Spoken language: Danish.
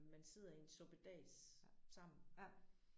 Man sidder i en suppedas sammen